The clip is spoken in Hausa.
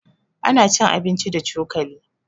Ana cin abinci da cokali.